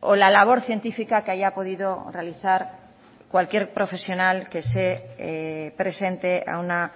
o la labor científica que haya podido realizar cualquier profesional que se presente a una